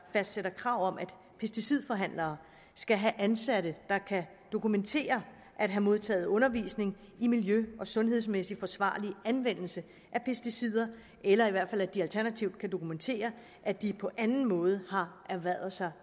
fastsætter krav om at pesticidforhandlere skal have ansatte der kan dokumentere at have modtaget undervisning i miljø og sundhedsmæssig forsvarlig anvendelse af pesticider eller at de alternativt kan dokumentere at de på anden måde har erhvervet sig